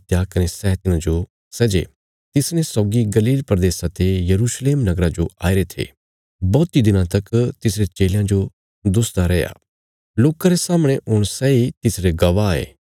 कने सै तिन्हांजो सै जे तिसने सौगी गलील प्रदेशा ते यरूशलेम नगरा जो आईरे थे बौहतीं दिनां तक तिसरे चेलयां जो दुसदा रैया लोकां रे सामणे हुण सैई तिसरे गवाह ये